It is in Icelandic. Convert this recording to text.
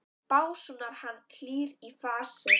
básúnar hann, hlýr í fasi.